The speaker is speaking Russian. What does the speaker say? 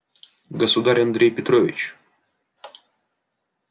государь андрей петрович